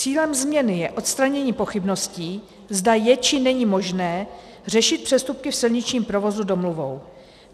Cílem změny je odstranění pochybností, zda je, či není možné řešit přestupky v silničním provozu domluvou.